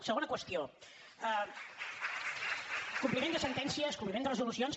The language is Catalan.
segona qüestió compliment de sentències compliment de resolucions